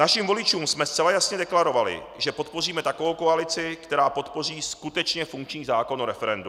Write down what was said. Našim voličům jsme zcela jasně deklarovali, že podpoříme takovou koalici, která podpoří skutečně funkční zákon o referendu.